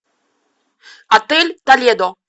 отель толедо